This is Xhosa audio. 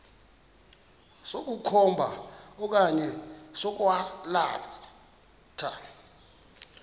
sokukhomba okanye sokwalatha